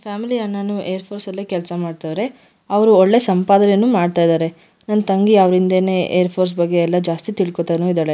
Family ಅಣ್ಣನೂ air force ಅಲ್ಲೇ ಕೆಲ್ಸ ಮಾಡತವ್ರೆ ಅವರು ಒಳ್ಳೆ ಸಂಪಾದನೆನೂ ಮಾಡ್ತಾ ಇದ್ದಾರೆ ನನ್ ತಂಗಿ ಅವ್ರಿಂದೆನೆ ಏರ್ ಫೋರ್ಸ್ ಬಗ್ಗೆ ಜಾಸ್ತಿ ತಿಳ್ಕೊತಾನೂ ಇದ್ದಾಳೆ.